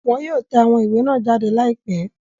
Wọn yóò tẹ awón iwe nàa jade laipe